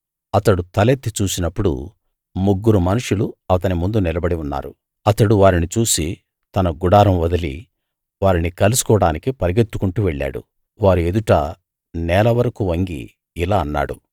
అతడు తలెత్తి చూసినప్పుడు ముగ్గురు మనుషులు అతని ముందు నిలబడి ఉన్నారు అతడు వారిని చూసి తన గుడారం వదిలి వారిని కలుసుకోవడానికి పరుగెత్తుకుంటూ వెళ్ళాడు వారి ఎదుట నేల వరకూ వంగి ఇలా అన్నాడు